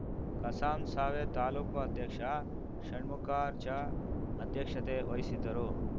ಕಸಾಸಾಂವೇ ತಾಲೂಕು ಅಧ್ಯಕ್ಷ ಷಣ್ಮುಖಾರ್ಚಾ ಅಧ್ಯಕ್ಷತೆ ವಹಿಸಿದ್ದರು